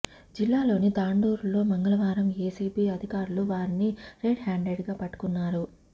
జిల్లాలోని తాండూరులో మంగళవారం ఏసీబీ అధికారులు వారిని రెడ్ హ్యాండెడ్గా పట్టుకున్నారు